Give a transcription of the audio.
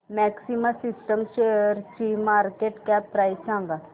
maxima Systems शेअरची market cap price सांगा